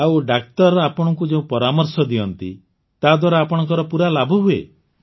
ଆଉ ଡାକ୍ତର ଆପଣଙ୍କୁ ଯେଉଁ ପରାମର୍ଶ ଦିଅନ୍ତି ତାଦ୍ୱାରା ଆପଣଙ୍କର ପୁରା ଲାଭ ହୁଏ